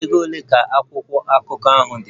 Ego ole ka akwụkwọ akụkọ ahụ dị?